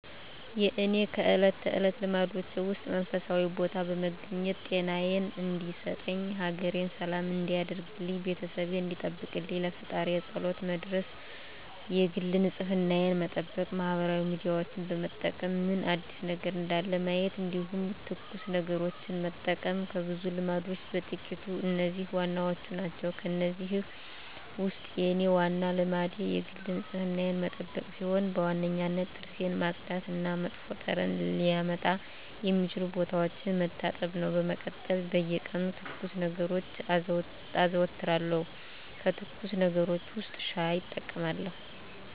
የእኔ ከእለት ተለት ልማዶቼ ውስጥ መንፈሳዊ ቦታ በመገኘት ጤናየን እንዲሰጠኝ፣ ሀገሬን ሰላም እንዲያደርግልኝ፣ ቤተሰቤን እንዲጠብቅልኝ ለፈጣሪየ ፀሎት መድረስ የግል ንፅህናየን መጠበቅ ማህበራዊ ሚዲያዎችን በመጠቀም ምን አዲስ ነገር እንዳለ ማየት እንዲሁም ትኩስ ነገሮችን መጠቀም ከብዙ ልማዶቼ በጥቂቱ እነዚህ ዋናዎቹ ናቸው። ከእነዚህ ውስጥ የኔ ዋናው ልማዴ የግል ንፅህናዬን መጠበቅ ሲሆን በዋነኝነት ጥርሴን ማፅዳት እና መጥፎ ጠረን ሊያመጡ የሚችሉ ቦታዎችን መታጠብ ነው። በመቀጠል በየቀኑ ትኩስ ነገሮችን አዘወትራለሁ ከትኩስ ነገሮች ውስጥ ሻይ እጠቀማለሁ።